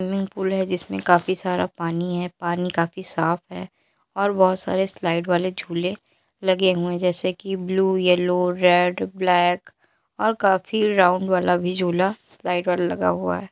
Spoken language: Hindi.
स्विंमिंग पूल है जिसमे काफी सारा पानी है पानी काफी साफ है और बहुत सारे स्लाइड वाले झूले लगे हुए है जैसे कि ब्लू येल्लो रेड ब्लैक और काफी राउंड वाला भी झूला स्लाइड वाला लगा हुआ है।